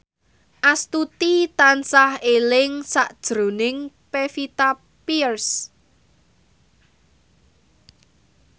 Astuti tansah eling sakjroning Pevita Pearce